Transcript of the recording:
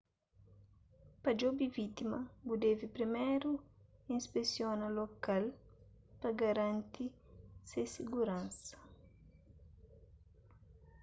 pa djobe vítima bu debe priméru inspesiona lokal pa garanti se siguransa